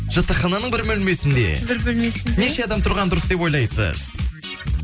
жатақхананың бір бөлмесінде бір бөлмесінде неше адам тұрған дұрыс деп ойлайсыз